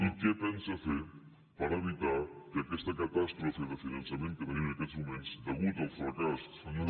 i què pensa fer per evitar que aquesta catàstrofe de finançament que tenim en aquests moments deguda al fracàs de